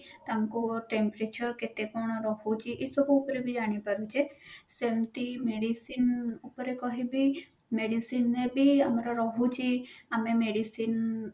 ତାଙ୍କୁ temperature କେତେ କଣ ରହୁଛି ଏ ସବୁ ଉପରେ ବି ଜାଣି ପାରୁଛେ ସେମତି medicine ଉପରେ କହିବି medicine ରେ ବି ଆମର ରହୁଛି ଆମେ medicine